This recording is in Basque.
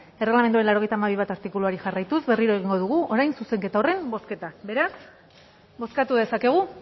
erreglamenduaren laurogeita hamabi puntu bat artikuluari jarraituz berriro egingo dugu orain zuzenketa horren bozketa beraz bozkatu dezakegu